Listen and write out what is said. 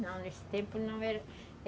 Não, nesse tempo não era.